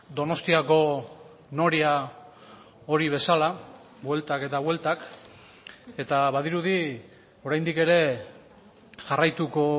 donostiako noria hori bezala bueltak eta bueltak eta badirudi oraindik ere jarraituko